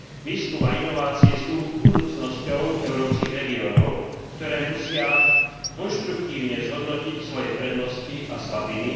Výskum a inovácie sú budúcnosťou európskych regiónov, ktoré musia konštruktívne zhodnotiť svoje prednosti a slabiny.